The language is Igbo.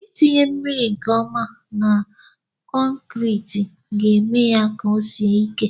Itinye mmiri nke ọma na kọnkriti ga-eme ya ka o sie ike